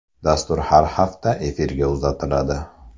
Dastur har hafta efirga uzatiladi.